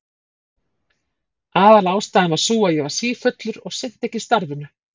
Aðalástæðan var sú að ég var sífullur og sinnti ekki starfinu.